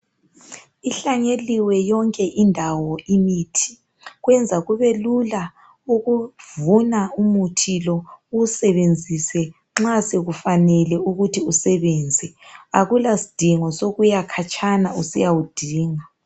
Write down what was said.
Ihlanyeliwe yonke indawo imithi, kwenza kubelula ukuvuba umuthi lo uwusebenzise nxa sekufanele ukuthi usebenze, akulasidingo sokuya khatshana usiya wudinga.